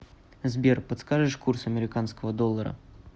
сбер подскажешь курс американского доллара